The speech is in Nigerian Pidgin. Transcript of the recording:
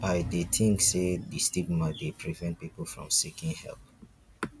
i dey think say di stigma dey prevent people from seeking help.